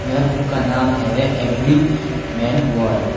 वह बुक का नाम है एवरी मैन वॉर ।